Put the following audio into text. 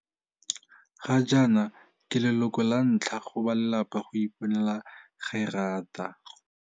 Gajaana ke leloko lantlha go balelapa go iponela gerata.